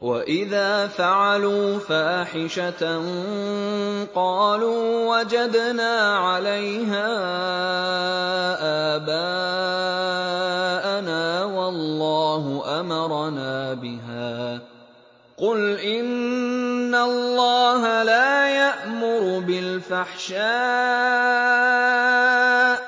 وَإِذَا فَعَلُوا فَاحِشَةً قَالُوا وَجَدْنَا عَلَيْهَا آبَاءَنَا وَاللَّهُ أَمَرَنَا بِهَا ۗ قُلْ إِنَّ اللَّهَ لَا يَأْمُرُ بِالْفَحْشَاءِ ۖ